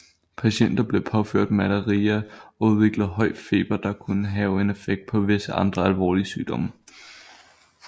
Patienter blev påført malaria og udviklede høj feber der kunne have en effekt på visse andre alvorlige sygdomme